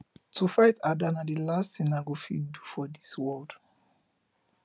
to fight ada be the last thing i go fit do for dis world